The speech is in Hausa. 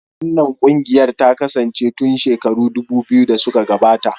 Wannan ƙungiyar ta kasance tun shekaru dubu biyu da suka gabata.